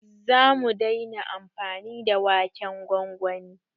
zamu daina amfani da waken gwangwani